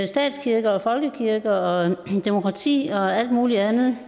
statskirke og folkekirke og demokrati og alt muligt andet